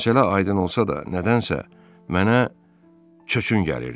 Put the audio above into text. Məsələ aydın olsa da, nədənsə mənə çöçün gəlirdi.